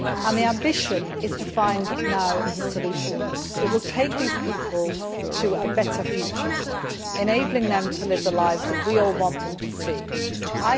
The ambition is to now find the solution that will take these people to a better future, enabling them to live the lives that we all want them to lead.